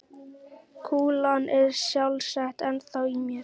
Kúlan er sjálfsagt ennþá í mér.